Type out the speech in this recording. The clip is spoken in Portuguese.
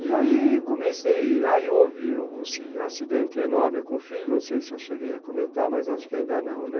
E aí comecei, aí houve o acidente enorme com o filho, não sei se eu cheguei a comentar, mas acho que ainda não, né?